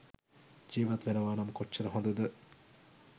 ජීවත් වෙනවා නම් කොච්චර හොඳද?